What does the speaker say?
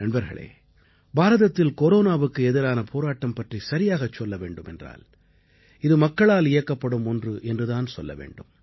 நண்பர்களே பாரதத்தில் கொரோனாவுக்கு எதிரான போராட்டம் பற்றிச் சரியாகச் சொல்ல வேண்டுமென்றால் இது மக்களால் இயக்கப்படும் ஒன்று என்று தான் சொல்ல வேண்டும்